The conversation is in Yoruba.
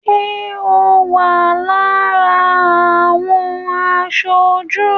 Ṣé o wà lára àwọn aṣojú?